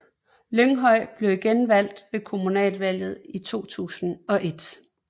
Lynghøj blev igen valgt ved kommunalvalget i 2001